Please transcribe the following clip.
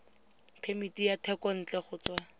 phemiti ya thekontle go tswa